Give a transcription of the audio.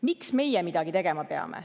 "Miks meie midagi tegema peame?